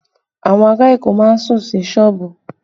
Awon ara Èkó má ń sùn sí sọ́ọ̀bù